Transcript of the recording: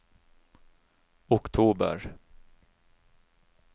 oktober